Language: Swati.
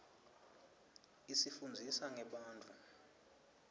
isifunndzisa ngebantfu